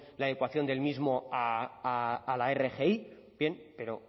adecuación del mismo a la rgi bien pero